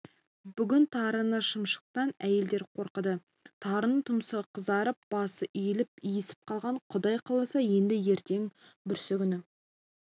бүгін тарыны шымшықтан әйелдер қорыды тарының тұмсығы қызарып басы иіліп иісіп қалған құдай қаласа енді ертең-бүрсігүні